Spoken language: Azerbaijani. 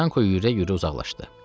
Yanko yüyürə-yüyürə uzaqlaşdı.